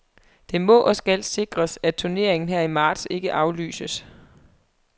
Det må og skal sikres, at turneringen her i marts ikke aflyses.